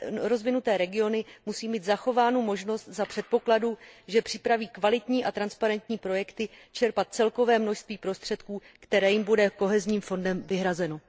rozvinuté regiony musí mít zachovánu možnost za předpokladu, že připraví kvalitní a transparentní projekty, čerpat celkové množství prostředků, které jim bude fondem soudržnosti vyhrazeno.